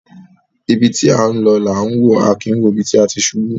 Ibi à ń lọ ni à wò, a kìí wo ibi tí a ti ṣubú.